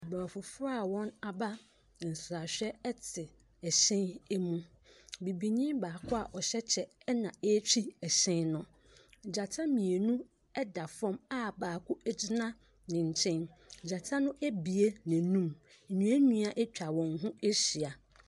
Aborɔfo foɔ a wɔn aba nsrahwɛ ete ɛhyɛn emu. Bibini baako a ɔhyɛ kyɛ ɛna etwi ɛhyɛn no. Gyata mienu ɛda fɔm a baako egyina nenkyɛn. Gyata no abie n'anum. Nnua nnua atwa wɔn ho ahyia.